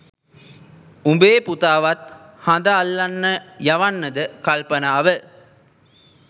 උඹේ පුතාවත් හඳ අල්ලන්න යවන්නද කල්පනාව